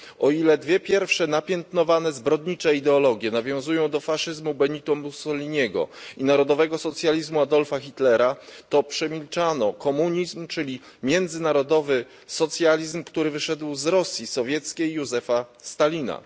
O ile dwie pierwsze napiętnowane zbrodnicze ideologie nawiązują do faszyzmu Benita Mussoliniego i narodowego socjalizmu Adolfa Hitlera, o tyle przemilczano komunizm, czyli międzynarodowy socjalizm, który wyszedł z Rosji sowieckiej Józefa Stalina.